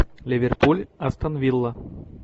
ливерпуль астон вилла